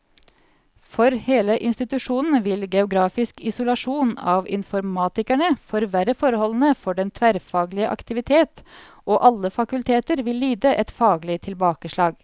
For hele institusjonen vil geografisk isolasjon av informatikerne forverre forholdene for den tverrfaglige aktivitet, og alle fakulteter vil lide et faglig tilbakeslag.